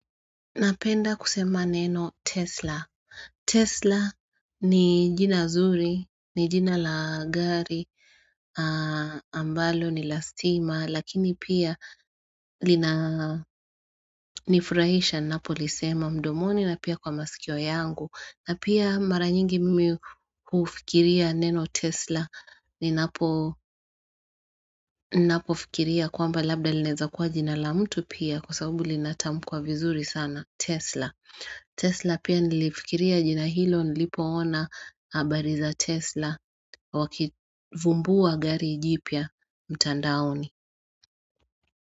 Napenda kusema neno Tesla. Tesla ni jina zuri, ni jina la gari, ambalo ni la stima, lakini pia linanifurahisha, ninapolisema, mdomoni na pia kwa masikio yangu. Na pia mara nyingi mimi hufikiria neno Tesla, ninapo ninapofikiria kwamba labda linaeza kuwa jina la mtu pia, kwa sababu linatamkwa vizuri sana, Tesla. Tesla pia nilifikiria jina hilo nilipoona habari za Tesla wakivumbua gari jipya mtandaoni.